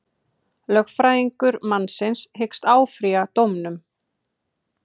Lögfræðingur mannsins hyggst áfrýja dómnum